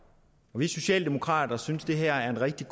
vi socialdemokrater synes det her er et rigtig